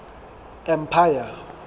empire